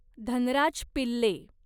Dhanraj Pillay